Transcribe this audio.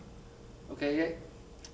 ókei ég